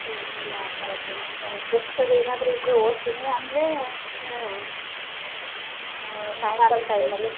ಏನಿಲ್ಲಾ ಆತರದೇನು books ಅದು ಏನಾದ್ರು ಇದ್ರೆ ಓದ್ತಿನಿ ಅಂದ್ರೆ ಆ ಸಾಯಂಕಾಲ time ಲ್ಲಿ.